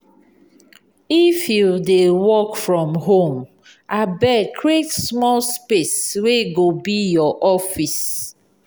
if you dey work from home abeg create small space wey go be your office.